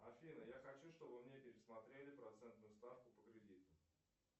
афина я хочу чтобы мне пересмотрели процентную ставку по кредиту